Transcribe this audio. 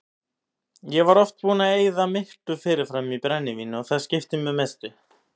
Ég var oft búinn að eyða miklu fyrirfram í brennivín og það skipti mig mestu.